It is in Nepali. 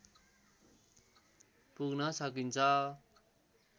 पुग्न सकिन्छ।